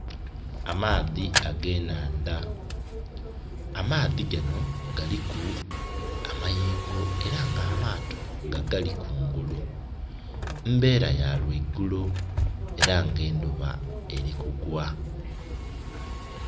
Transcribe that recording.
Amaadhi ag'enhandha. Amaadhi gano galiku amayengo era ng' amaato gagali kungulu. Mbeera ya lwa igulo era nga endhuba eli kugwa.